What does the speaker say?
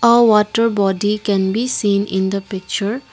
a water body can be seen in the picture.